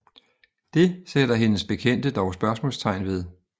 Det sætter hendes bekendte dog spørgsmålstegn ved